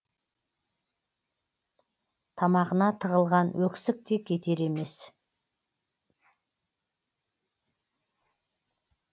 тамағына тығылған өксікте кетер емес